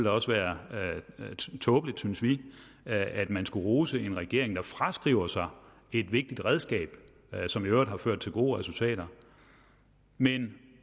også være tåbeligt synes vi at man skulle rose en regering der fraskriver sig et vigtigt redskab som i øvrigt har ført til gode resultater men